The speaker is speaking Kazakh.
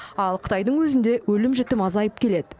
ал қытайдың өзінде өлім жітім азайып келеді